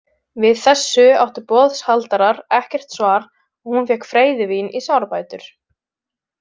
Við þessu áttu boðshaldarar ekkert svar og hún fékk freyðivín í sárabætur.